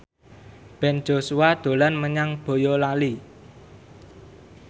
Ben Joshua dolan menyang Boyolali